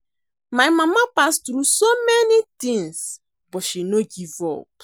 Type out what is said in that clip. My mama pass through so many things but she no give up